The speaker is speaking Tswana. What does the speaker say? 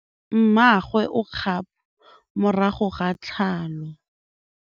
Mmagwe o kgapô morago ga tlhalô.